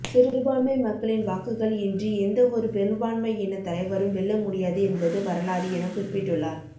சிறுபான்மை மக்களின் வாக்குகள் இன்றி எந்தவொரு பெரும்பான்மை இன தலைவரும் வெல்ல முடியாது என்பது வரலாறு என குறிப்பிட்டுள்ளார்